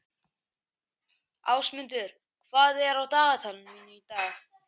Ásmundur, hvað er á dagatalinu mínu í dag?